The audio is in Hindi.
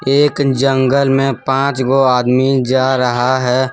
एक जंगल में पांच गो आदमी जा रहा है।